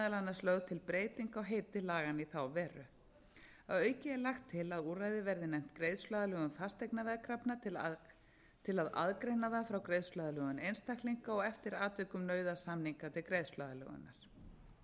annars lögð til breyting á heiti laganna í þá veru að auki er lagt til að úrræðið verði nefnt greiðsluaðlögun fasteignaveðkrafna til að aðgreina það frá greiðsluaðlögun einstaklinga og eftir atvikum nauðasamningi til greiðsluaðlögunar